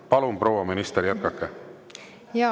Palun, proua minister, jätkake!